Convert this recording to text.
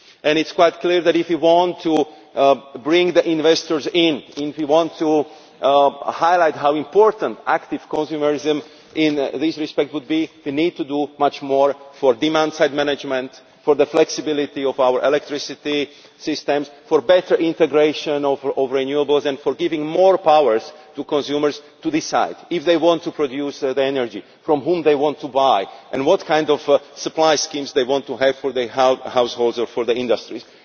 It is quite clear that if you want to bring the investors in, and if we want to highlight how important active consumerism in this respect would be, we need to do much more for demand-side management, the flexibility of our electricity systems, better integration of renewables and giving more powers to consumers to decide if they want to produce the energy, from whom they want to buy and what kind of supply schemes they want to have for their households or for industries.